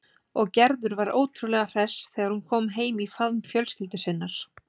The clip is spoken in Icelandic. Og Gerður var ótrúlega hress þegar hún kom heim í faðm fjölskyldu sinnar.